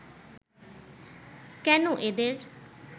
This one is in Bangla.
কেন এদের